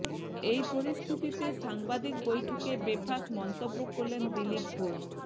এই পরিস্থিতিতে সাংবাদিক বৈঠকে বেফাঁস মন্তব্য করলেন দিলীপ ঘোষ